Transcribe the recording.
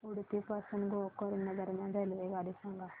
उडुपी पासून गोकर्ण दरम्यान रेल्वेगाडी सांगा